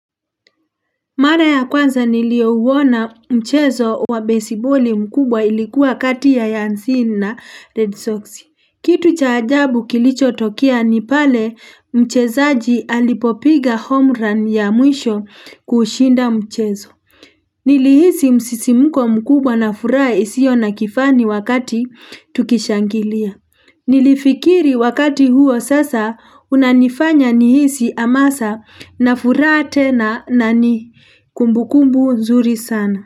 Mara ya kwanza nilio uwona mchezo wa baseballi mkubwa ilikuwa kati ya Yansin na Red Sox. Kitu cha ajabu kilicho tokea ni pale mchezaji alipopiga home run ya mwisho kushinda mchezo. Nilihisi msisimuko mkubwa na furaha isio na kifani wakati tukishangilia. Nilifikiri wakati huo sasa unanifanya nihisi amasa na furaha tena na nani. Kumbukumbu nzuri sana.